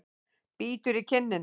Bítur í kinnina.